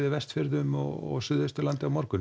Vestfjörðum og Suðvesturlandi á morgun